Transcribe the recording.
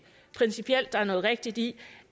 principielt at der er noget rigtigt i